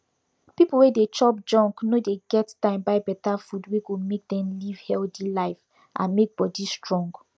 pipu wey dey chop junk no dey get time buy better food wey go make dem live healthy life and make body strong